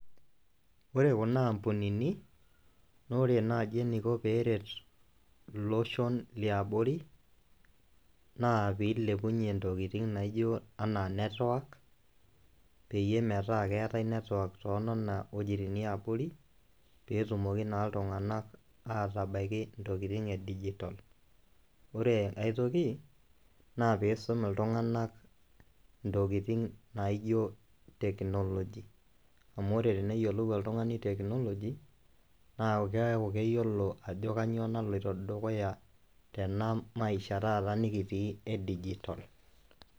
Ore kuna ambunini naa ore naaji eniko peeret iloshon liabori naa piilepunye ntokitin naijo enaa network peyie metaa keetai network too nona wojitin e abori peetumoki naa iltung'anak aatabaiki ntokitin e dijital. Ore ai toki naa piisum iltung'anak ntokitin naijo teknoloji amu ore teneyiolou oltung'ani teknoloji, naa keeku keyiolo ajo kanyoo naloito dukuya tena maisha taata nekitii e digital.